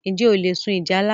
Njẹ ṣé o le sun ìjálá?